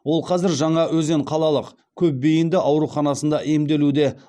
ол қазір жаңаөзен қалалық көпбейінді ауруханасында емделуде